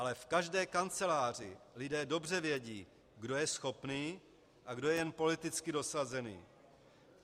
Ale v každé kanceláři lidé dobře vědí, kdo je schopný a kdo je jen politicky dosazený.